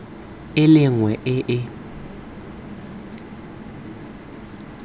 e le nngwe e e